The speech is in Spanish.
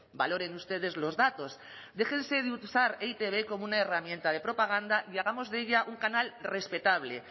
valoren ustedes los datos déjense de usar e i te be como una herramienta de propaganda y hagamos de ella un canal respetable